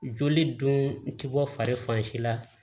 Joli dun ti bɔ fari si la